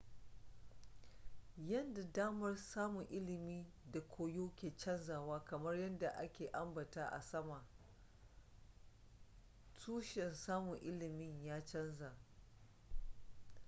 yadda damar samun ilimi da koyo ke canzawa kamar yadda a ka ambata a sama tushen samun ilimin ya canza